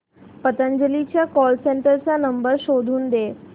पतंजली च्या call centre चा नंबर शोधून दे